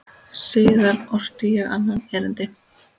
Síðar orti ég annað erindi.